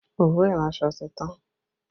Òwú iranso ti tán